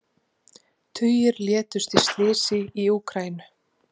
Tugir létust í slysi í Úkraínu